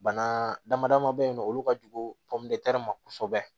Bana damadaman bɛ yen nɔ olu ka jugu ma kosɛbɛ